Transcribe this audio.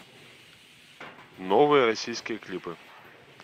новые российские клипы